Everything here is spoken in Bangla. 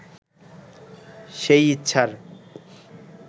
সেই ইচ্ছার